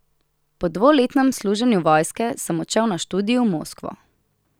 Po dvoletnem služenju vojske sem odšel na študij v Moskvo.